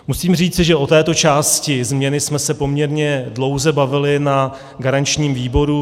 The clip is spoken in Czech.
Musím říci, že o této části změny jsme se poměrně dlouze bavili na garančním výboru.